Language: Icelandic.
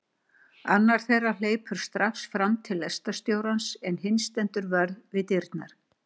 Annar þeirra hleypur strax fram til lestarstjórans en hinn stendur vörð við dyrnar.